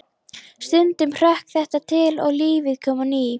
Stundum hrökk þetta til og lífið kom á ný.